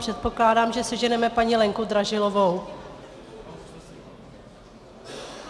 Předpokládám, že seženeme paní Lenku Dražilovou.